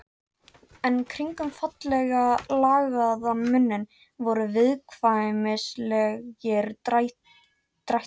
En kringum fallega lagaðan munninn voru viðkvæmnislegir drættir.